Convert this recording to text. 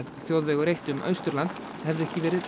þjóðvegur eitt um Austurland hefði ekki verið